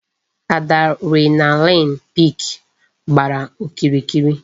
Adrenaline peak gbàrà okirikiri